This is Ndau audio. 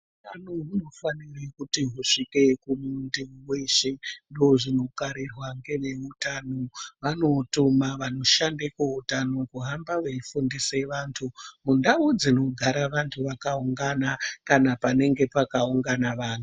Utano huno fanire kuti husvike ku muntu weshe ndo zvino karirwa nge veutano vano tuma vano shande ku utano kuhamba veyi fundise vantu mundau dzinogara vantu vaka ungana kana panenga paka ungana vantu.